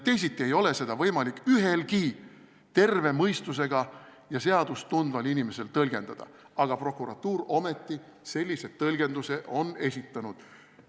Teisiti ei ole seda võimalik ühelgi terve mõistusega ja seadust tundval inimesel tõlgendada, aga prokuratuur ometi sellise tõlgenduse on esitanud.